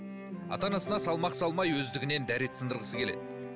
ата анасына салмақ салмай өздігінен дәрет сындырғысы келеді